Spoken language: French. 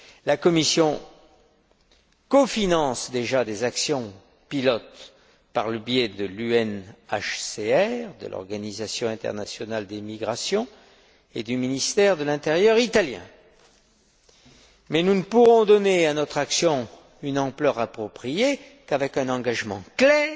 La Commission cofinance déjà des actions pilotes par le biais du HCR des Nations unies, de l'Organisation internationale des migrations, et du ministère italien de l'intérieur. Cependant, nous ne pourrons donner à notre action une ampleur appropriée qu'avec un engagement clair